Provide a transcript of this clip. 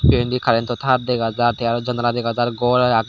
te endi current to tar dega jar te aro janala dega jar ghor aage.